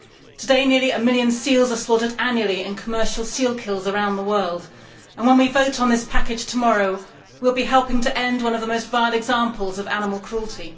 Today, nearly one million seals are slaughtered annually in commercial seal kills around the world, and when we vote on this package tomorrow we will be helping to end one of the most vile examples of animal cruelty.